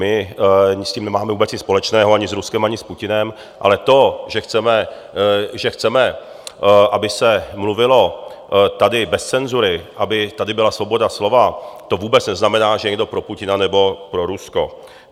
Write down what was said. My s tím nemáme vůbec nic společného, ani s Ruskem, ani s Putinem, ale to, že chceme, aby se mluvilo tady bez cenzury, aby tady byla svoboda slova, to vůbec neznamená, že je někdo pro Putina nebo pro Rusko.